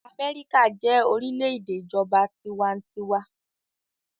Amẹ́ríkà jẹ́ orílẹ̀-èdè ìjọba tiwantiwa.